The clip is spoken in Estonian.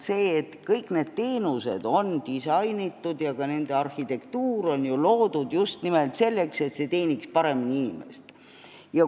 Ometi on kõik need teenused disainitud ja ka nende arhitektuur loodud just nimelt selleks, et see teeniks paremini inimest.